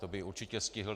To by určitě stihl.